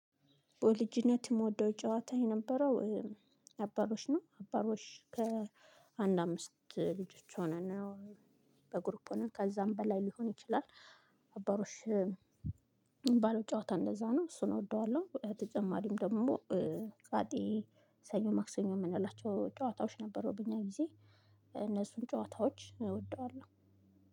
በልጅነት የምወደው ጨዋታ የነበረው አባሮሽ ነው አባሮሽ ከአንድ አምስት ልጆች ሆነን ነው በግሩፕ ሆነን ከዛም በላይ ሊሆን ይችላል። አባሮሽ ባለው ጨዋታ እንደዛ ነው እሱን እወደዋለሁ። ተጨማሪም ደግሞ ፋጤ ሰኞ ማክሰኞ የምንላቸው ጨዋታዎች ነበሩብኝ እኛ ጊዜ እነሱን ጨዋታዎች እወደዋለሁ።